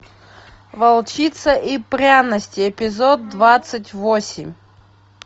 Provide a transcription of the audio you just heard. волчица и пряности эпизод двадцать восемь